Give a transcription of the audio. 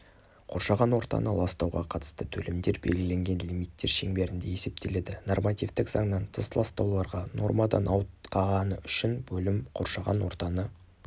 қоршаған ортаны ластауға қатысты төлемдер белгіленген лимиттер шеңберінде есептеледі нормативтік заңнан тыс ластауларға нормадан ауытқығаны үшін бөлім қоршаған ортаны